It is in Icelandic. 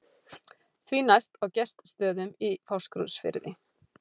Því næst á Gestsstöðum í Fáskrúðsfirði.